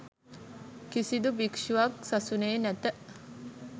කිසිදු භික්ෂුවක් සසුනේ නැත